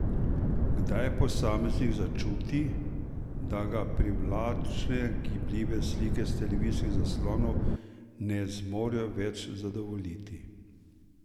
Kdaj posameznik začuti, da ga privlačne gibljive slike s televizijskih zaslonov ne zmorejo več zadovoljiti?